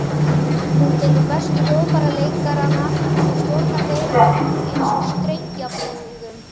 Hún tekur bestu hljóðfæraleikarana og stjórnar þeim eins og strengjabrúðum.